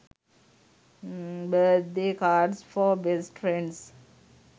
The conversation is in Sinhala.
birthday cards for best friends